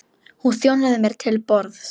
Hún þjónaði mér til borðs.